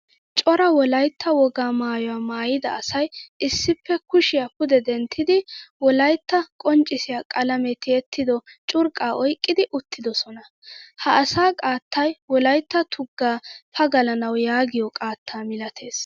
Cora wolaytta wogaa maayuwaa maayida asay issippe kushiyaa pude denttidi wolaytta qonccisiyaa qalame tiyettido curqqa oyqqidi uttidoosona. Ha asaa qaattay wolaytta tugga pagalanawu yaagiyo qaatta milattees.